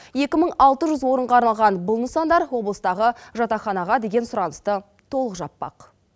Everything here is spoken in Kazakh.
екі мың алты жүз орынға арналған бұл нысандар облыстағы жатақханаға деген сұранысты толық жаппақ